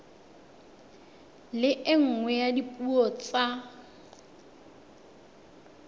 le nngwe ya dipuo tsa